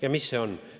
Ja mis see on?